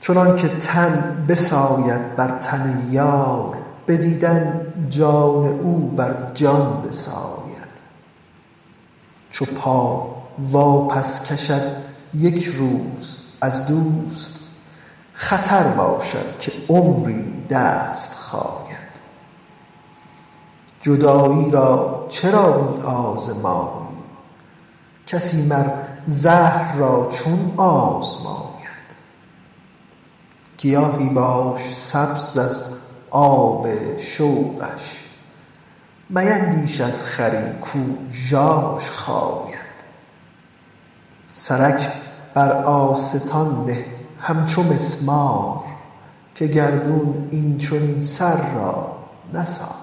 چنانک تن بساید بر تن یار به دیدن جان او بر جان بساید چو پا واپس کشد یک روز از دوست خطر باشد که عمری دست خاید جدایی را چرا می آزمایی کسی مر زهر را چون آزماید گیاهی باش سبز از آب شوقش میندیش از خری کو ژاژ خاید سرک بر آستان نه همچو مسمار که گردون این چنین سر را نساید